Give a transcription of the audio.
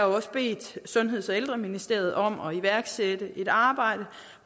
også bedt sundheds og ældreministeriet om at iværksætte et arbejde